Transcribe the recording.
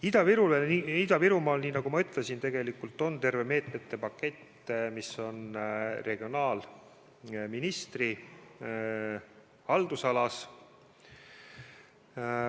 Ida-Virumaa jaoks, nii nagu ma ütlesin, on olemas terve meetmete pakett, mis on regionaalministri haldusalas.